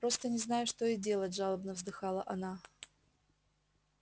просто не знаю что и делать жалобно вздыхала она